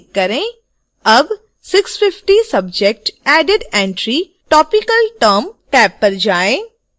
अब 650 subject added entrytopical term tab पर जाएँ